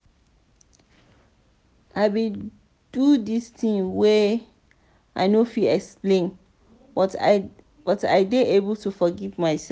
i bin do tins wey i no fit explain but i dey learn to forgive mysef.